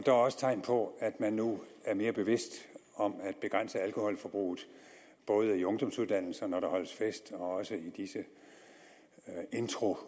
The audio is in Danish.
er også tegn på at man nu er mere bevidst om at begrænse alkoholforbruget både i ungdomsuddannelserne når der holdes fest og også i disse introuger